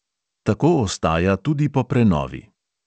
Tako ostaja tudi po prenovi.